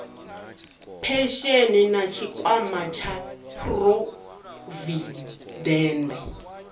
phesheni na tshikwama tsha phurovidende